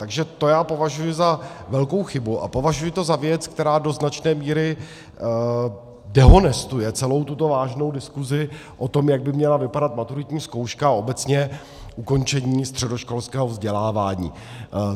Takže to já považuji za velkou chybu a považuji to za věc, která do značné míry dehonestuje celou tuto vážnou diskuzi o tom, jak by měla vypadat maturitní zkouška a obecně ukončení středoškolského vzdělávání.